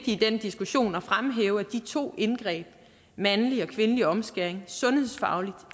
i den diskussion at fremhæve at de to indgreb mandlig og kvindelig omskæring sundhedsfagligt